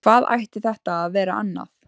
Hvað ætti þetta að vera annað?